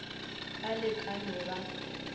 ba le ka no ba